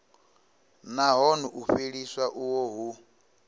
nahone u fheliswa uho hu